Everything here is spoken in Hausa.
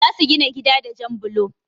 Za su gina gida da jan blo.